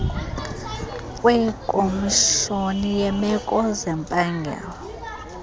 kwekomishoni yeemeko zempangelo